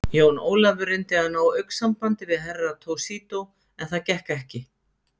Jón Ólafur reyndi að ná augnsambandi við Herra Toshizo, en það gekk ekki.